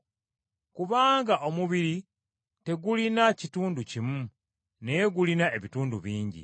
Kubanga omubiri tegulina kitundu kimu, naye gulina ebitundu bingi.